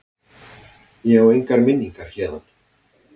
Ég á engar minningar héðan.